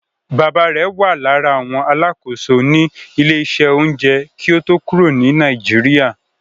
Bàbáa rẹ̀ wà lára àwọn alákòóso ní ilé-iṣẹ́ oúnjẹ kí ó tó kúrò ní Nàìjíríà.